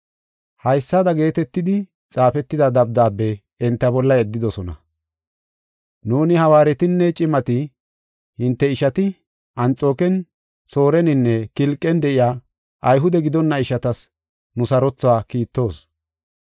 Haysada geetetidi xaafetida dabdaabe enta bolla yeddidosona: “Nuuni hawaaretinne cimati hinte ishati, Anxooken, Sooreninne Kilqen de7iya Ayhude gidonna ishatas nu sarothuwa kiittoos.